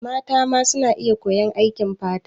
Mata ma suna iya koyan aikin fata.